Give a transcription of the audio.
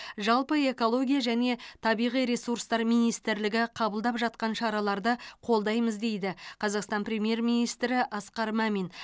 жалпы экология және табиғи ресурстар министрлігі қабылдап жатқан шараларды қолдаймыз дейді қазақстан премьер министрі асқар мамин